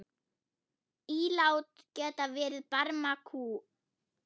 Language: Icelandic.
Ílát geta verið barmakúf.